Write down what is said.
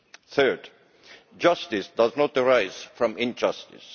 Third, justice does not arise from injustice.